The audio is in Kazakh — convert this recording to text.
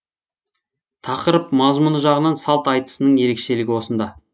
тақырып мазмұны жағынан салт айтысының ерекшелігі осында